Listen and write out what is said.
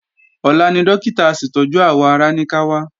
Ọ̀la ni Dókítà aṣètọ́jú àwọ̀ ara ní ká wá